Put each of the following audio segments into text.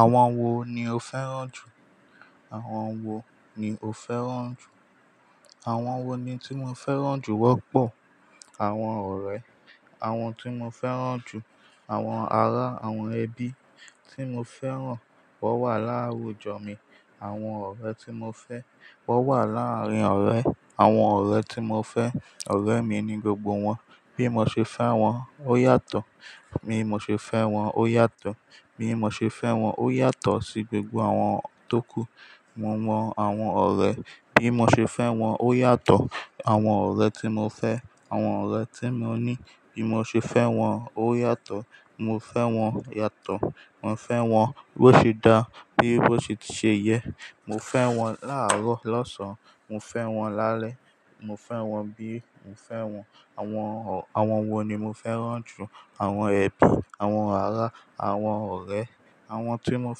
Àwọn wo ni o fẹ́ràn jù? Àwọn wo ni o fẹ́ràn jù? Àwọn wo ni tí mo fẹ́ràn jù wọ́pọ̀? Àwọn ọ̀rẹ́, awọn tí mo fẹ́ràn jù. Àwọn ará, àwọn ẹbí tí mo fẹ́ràn. Wọ́n wà láwùjọ mi. Àwọn ọ̀rẹ́ tí mo fẹ́. Wọ́n wà láàárín ọ̀rẹ́. Àwọn ọ̀rẹ́ tí mo fẹ́. Ọ̀rẹ́ mi ni gbogbo wọn. Bí mo ṣe fẹ́ wọn, ó yàtọ̀. Bí mo ṣe fẹ́ wọn, ó yàtọ̀. Bí mo ṣe fẹ́ wọn, ó yàtọ̀ sí gbogbo àwọn tókù. Mo mo àwọn ọ̀rẹ́. Bí mo ṣe fẹ́ wọn, ó yàtọ̀. Àwọn ọ̀rẹ́ tí mo fẹ́. Àwọn ọ̀rẹ́ tí mo ní. Bí mo ṣe fẹ́ wọn, ó yàtọ̀. Mo fẹ́ wọn yàtọ̀, mo fẹ́ wọn bó ṣe da, bí bó ṣe ti ṣe yẹ. Mo fẹ́ wọn láàrọ́, lọ́sàn, mo fẹ́ wọn lálẹ́. Mo fẹ́ wọn bí mo fẹ́ wọn. Àwọn ọ̀--, àwọn wo ni mo fẹ́ràn jù? Àwọn ẹbí, àwọn ará, àwọn ọ̀rẹ́. Àwọn tí mo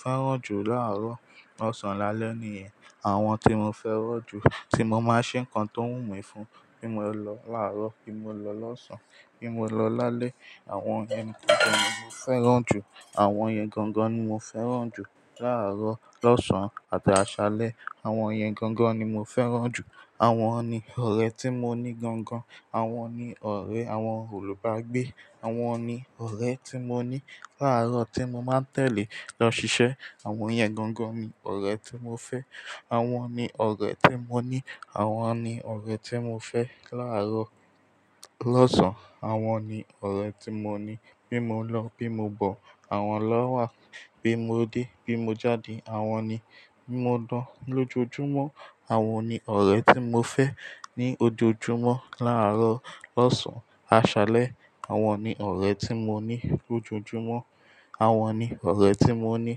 fẹ́ràn jù láàrọ́, lọ́sàn-án lálẹ́ nìyẹn. Àwọn tí mo fẹ́ràn jù, tí mo máa n ṣe nǹkan tó wù mí fún. Bí mo lọ láàrọ̀, bí mo lọ lọ́sàn-án, bí mo lọ lálẹ́. Àwọn ẹni tí mo fẹ́ràn jù. Àwọn yẹn gangan ni mo fẹ́ràn jù. Láàrọ̀, lọ́sàn-án àti aṣálẹ́. Àwọn yẹn gangan ni mo fẹ́ràn jù. Àwọn ni ọ̀rẹ́ tí mo ní gangan. Àwọn ni ọ̀rẹ́, àwọn olùbágbé. Àwọn ni ọ̀rẹ́ tí mo ní láàrọ̀, tí mo máa tẹ̀lé lọ ṣiṣẹ́. Àwọn yẹn gangan ni ọ̀rẹ́ tí mo fẹ́. Àwọn ni ọ̀rẹ́ tí mo ní. Àwọn ni ọ̀rẹ́ tí mo fẹ́ láàrọ̀, lọ́sàn-án. Àwọn ni ọ̀rẹ́ tí mo ní. Bí mo lọ, bí mo bọ̀, àwọn ló wà. Bí mo dé, bí mo jáde, àwọn ni. Bí mo dán lójoojúmọ́, àwọn ni ọ̀rẹ́ tí mo fẹ́ ní ojoojúmọ́. Láàrọ̀, lọ́sàn, aṣálẹ́. Awọn ni ọ̀rẹ́ tí mo ní lójoojúmọ́. Àwọn ni ọ̀rẹ́ tí mo ní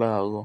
láàrọ̀.